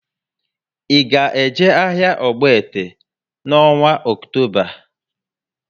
I ga eje áhiá Ogbete n' ọnwa Ọktoba?